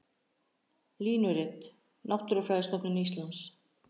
Línurit: Náttúrufræðistofnun Íslands.